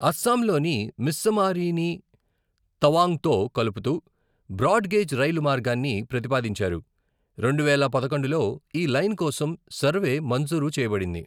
అసోంలోని మిస్సమారీని తవాంగ్తో కలుపుతూ బ్రాడ్ గేజ్ రైలు మార్గాన్ని ప్రతిపాదించారు, రెండువేల పదకొండులో ఈ లైన్ కోసం సర్వే మంజూరు చేయబడింది.